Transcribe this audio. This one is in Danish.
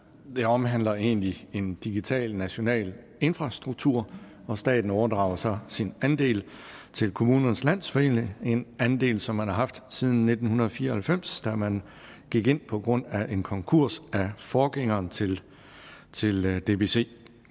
det omhandler egentlig en digital national infrastruktur og staten overdrager så sin andel til kommunernes landsforening en andel som man har haft siden nitten fire og halvfems da man gik ind på grund af en konkurs af forgængeren til til dbc